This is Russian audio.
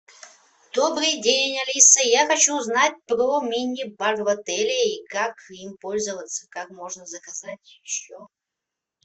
добрый день алиса я хочу узнать про мини бар в отеле и как им пользоваться как можно заказать еще